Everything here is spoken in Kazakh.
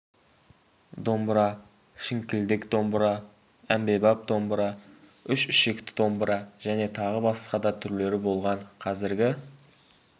домбыра шіңкілдек домбыра әмбебап домбыра үш ішекті домбыра және тағы басқа да түрлері болған қазіргі